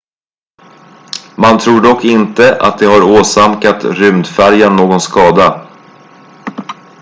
man tror dock inte att de har åsamkat rymdfärjan någon skada